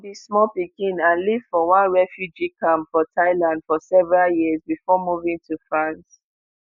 im be small pikin and live for one refugee camp for thailand for several years before moving to france